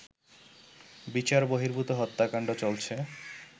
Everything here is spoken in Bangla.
বিচার বহির্ভূত হত্যাকান্ড চলছে